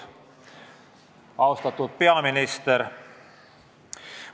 Austatud peaminister!